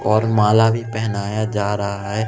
और माला भी पहनाया जा है।